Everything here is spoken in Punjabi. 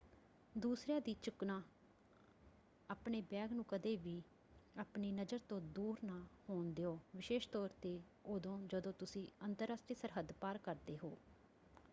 ਦੂਸਰਿਆਂ ਦੀ ਚੁੱਕਣਾ - ਆਪਣੇ ਬੈਗ ਨੂੰ ਕਦੇ ਵੀ ਆਪਣੀ ਨਜ਼ਰ ਤੋਂ ਦੂਰ ਨਾ ਹੋਣ ਦਿਓ ਵਿਸ਼ੇਸ਼ ਤੌਰ ‘ਤੇ ਉਦੋਂ ਜਦੋਂ ਤੁਸੀਂ ਅੰਤਰਰਾਸ਼ਟਰੀ ਸਰਹੱਦ ਪਾਰ ਕਰਦੇ ਹੋ।